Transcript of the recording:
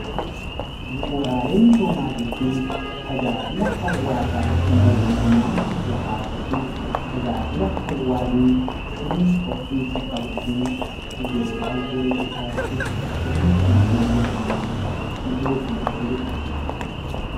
Bu'uuraalee misoomaa jechuun tajaajila hawaasaaf mootummaan tokko taasisu, tajaajila hawaasni sirna ho'iinsa qabuutiin yeroodhaa yerootti taasisu, sirna guddina biyya tokkootiif ijoo kan ta'e jechuudha.